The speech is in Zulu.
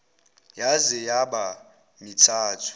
yaze yaba mithathu